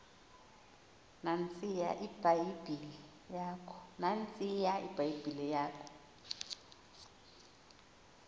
nantsiya ibhayibhile yakho